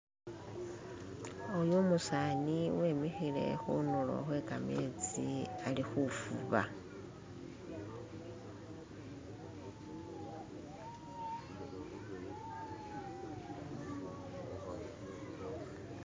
Oyo umusani wemikhile khundlo khwe kametsi ali khuvuba